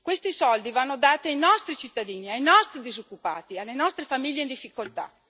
Questi soldi vanno dati ai nostri cittadini, ai nostri disoccupati, alle nostre famiglie in difficoltà.